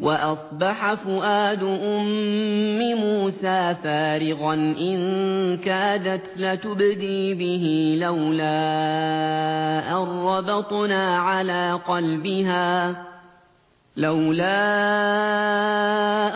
وَأَصْبَحَ فُؤَادُ أُمِّ مُوسَىٰ فَارِغًا ۖ إِن كَادَتْ لَتُبْدِي بِهِ لَوْلَا